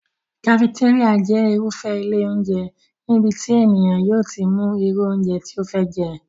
Kafetéríà jẹ́ irúfé ilé óúnjẹ níbi tí ènìyàn yóò ti mú irú óúnjẹ tí ó fẹ́ jẹ́